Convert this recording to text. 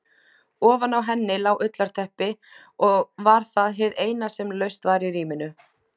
Ofan á henni lá ullarteppi og var það hið eina sem laust var í rýminu.